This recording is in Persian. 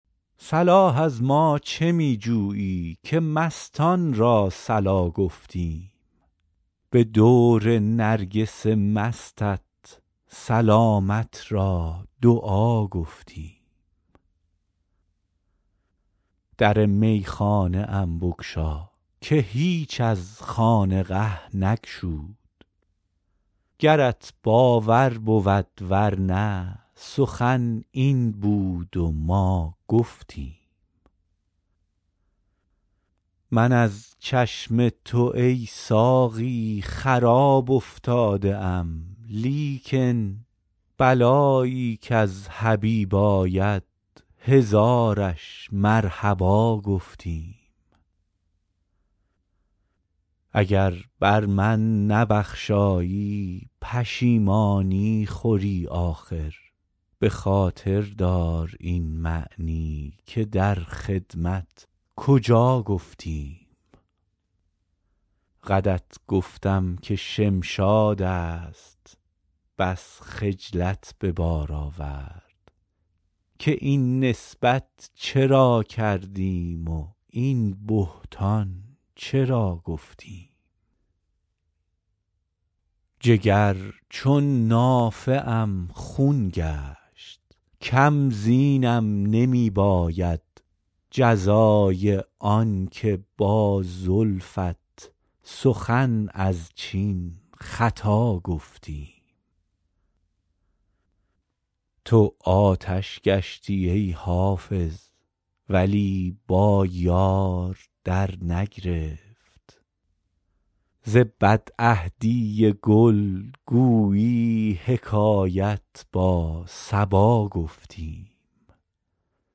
صلاح از ما چه می جویی که مستان را صلا گفتیم به دور نرگس مستت سلامت را دعا گفتیم در میخانه ام بگشا که هیچ از خانقه نگشود گرت باور بود ور نه سخن این بود و ما گفتیم من از چشم تو ای ساقی خراب افتاده ام لیکن بلایی کز حبیب آید هزارش مرحبا گفتیم اگر بر من نبخشایی پشیمانی خوری آخر به خاطر دار این معنی که در خدمت کجا گفتیم قدت گفتم که شمشاد است بس خجلت به بار آورد که این نسبت چرا کردیم و این بهتان چرا گفتیم جگر چون نافه ام خون گشت کم زینم نمی باید جزای آن که با زلفت سخن از چین خطا گفتیم تو آتش گشتی ای حافظ ولی با یار درنگرفت ز بدعهدی گل گویی حکایت با صبا گفتیم